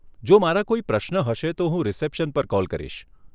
જો મારા કોઈ પ્રશ્ન હશે તો હું રિસેપ્શન પર કોલ કરીશ.